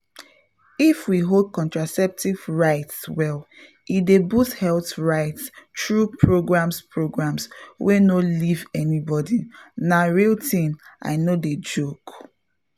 if we hold contraceptive rights well e dey boost health rights through programs programs wey no leave anybody—na real thing i no dey joke.